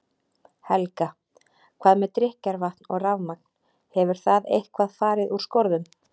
Helga: Hvað með drykkjarvatn og rafmagn, hefur það eitthvað fari úr skorðum?